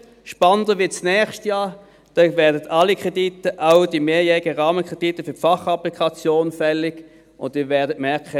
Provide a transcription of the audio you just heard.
Spannender wird es nächstes Jahr, da werden alle Kredite – auch die mehrjährigen Rahmenkredite für die Fachapplikation – fällig, und Sie werden merken: